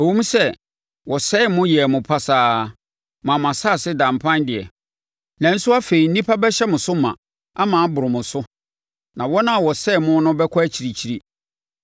“Ɛwom sɛ wɔsɛee mo yɛɛ mo pasaa maa mo asase daa mpan deɛ, nanso, afei nnipa bɛhyɛ mo so ma, ama aboro mo so, na wɔn a wɔsɛee mo no bɛkɔ akyirikyiri.